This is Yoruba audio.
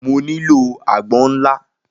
Mo nílò àgbọn ńlá